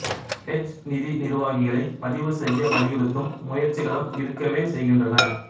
hedge நிதி நிர்வாகிகளை பதிவு செய்ய வலியுறுத்தும் முயற்சிகளும் இருக்கவே செய்கின்றன